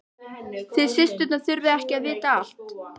Þið systurnar þurfið ekki að vita allt.